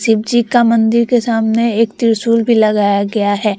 शिव जी का मंदिर के सामने एक त्रिशूल भी लगाया गया है।